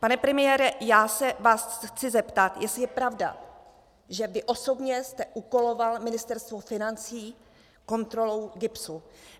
Pane premiére, já se vás chci zeptat, jestli je pravda, že vy osobně jste úkoloval Ministerstvo financí kontrolou GIBS.